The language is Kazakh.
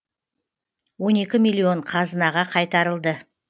он екі миллион қазынаға қайтарылды